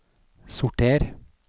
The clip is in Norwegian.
sorter